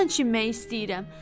yaman çimmək istəyirəm.